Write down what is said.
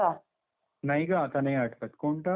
नाही ग आता नाही आठवत. कोणतं? कसा तो?